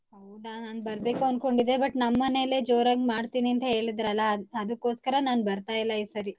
ನಾನ್ ಬರ್ಬೇಕು ಅನ್ಕೊಂಡಿದ್ದೇ but ನಮ್ಮನೇಲೆ ಜೋರಾಗ್ ಮಾಡ್ತೀನಿ ಅಂತ ಹೇಳಿದ್ರಲ್ಲ ಅದಕ್ಕೋಸ್ಕರ ನಾನ್ ಬರ್ತಾ ಇಲ್ಲ ಈ ಸರಿ.